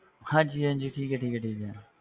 ਹਾਂਜੀ ਹਾਂਜੀ ਠੀਕ ਹੈ ਠੀਕ ਹੈ ਠੀਕ ਹੈ,